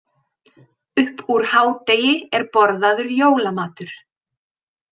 Upp úr hádegi er borðaður jólamatur.